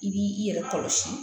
I b'i i yɛrɛ kɔlɔsi